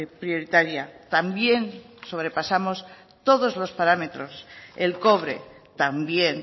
prioritaria también sobrepasamos todos los parámetros el cobre también